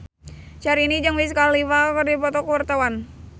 Syahrini jeung Wiz Khalifa keur dipoto ku wartawan